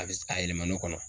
A be se ka yɛlɛma ne kɔnɔ.